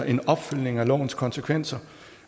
en opfølgning af lovens konsekvenser